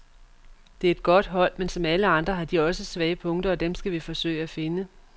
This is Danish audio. Det er et godt hold, men som alle andre har de også svage punkter, og dem skal vi forsøge at finde.